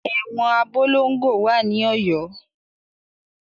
Ẹ̀wọn Abolongo wà ní Ọ̀yọ́.